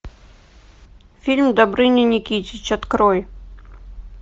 фильм добрыня никитич открой